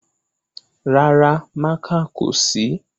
Rárá, mákà kò sí